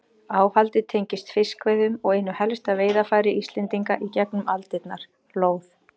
Áhaldið tengist fiskveiðum og einu helsta veiðarfæri Íslendinga í gegnum aldirnar, lóð.